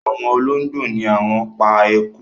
Awon ologbo ni won pa eku